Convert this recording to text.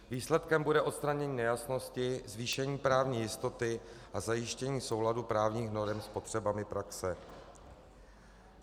Výsledkem bude odstranění nejasnosti, zvýšení právní jistoty a zajištění souladu právních norem s potřebami praxe.